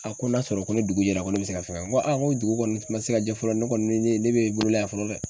A ko n'a sɔrɔ ko ni dugu jɛra ko ne bɛ se ka fɛn kɛ n ko aa n ko dugu kɔni ma se ka jɛ fɔlɔ ne kɔni ne be bolo la yan fɔlɔ dɛ.